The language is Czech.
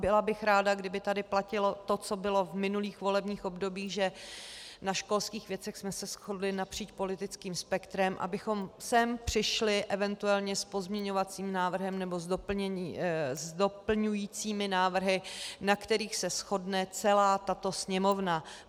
Byla bych ráda, kdyby tady platilo to, co bylo v minulých volebních obdobích, že na školských věcech jsme se shodli napříč politickým spektrem, abychom sem přišli eventuálně s pozměňovacím návrhem nebo s doplňujícími návrhy, na kterých se shodne celá tato Sněmovna.